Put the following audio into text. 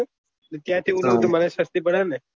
ત્યાં થી ઉઠાઉં તો મને સસ્તી પડે ને